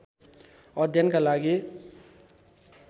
अध्ययनका लागि